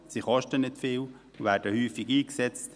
Sie kosten nicht viel und werden häufig eingesetzt.